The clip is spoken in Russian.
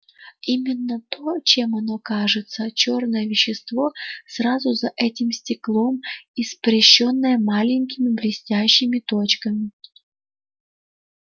именно то чем оно кажется чёрное вещество сразу за этим стеклом испещрённое маленькими блестящими точками